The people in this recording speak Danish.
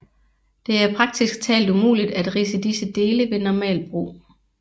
Det er praktisk talt umuligt at ridse disse dele ved normalt brug